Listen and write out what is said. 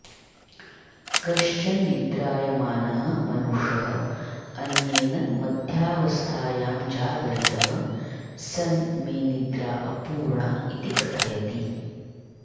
कश्चन निद्रायमानः मनुष्यः अन्येन मध्यावस्थायां जागरितः सन् मे निद्रा अपूर्णा इति कथयति